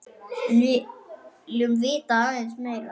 En viljum vita aðeins meira.